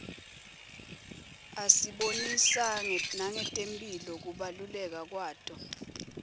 asibonisa nangetemphilo kubaluleka kwato